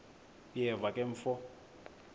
uyeva ke mfo